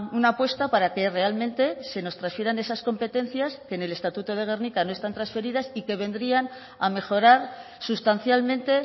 una apuesta para que realmente se nos transfieran esas competencias que en el estatuto de gernika no están transferidas y que vendrían a mejorar sustancialmente